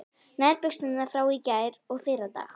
Nærbuxurnar frá í gær og fyrradag